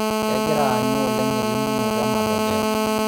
Kegira aanyu oleng elimunoto e matokeo.